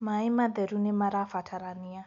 maĩ matheru nĩmarabatarania